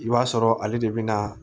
I b'a sɔrɔ ale de bɛ na